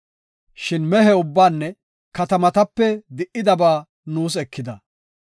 Shin mehe ubbaanne katamatape di77idabaa nuus ekida.